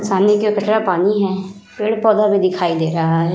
सानी के कचरा पानी है। पेड़ पौधा भी दिखाई दे रहा है।